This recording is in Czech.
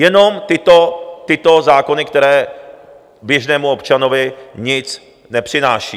Jenom tyto zákony, které běžnému občanovi nic nepřináší.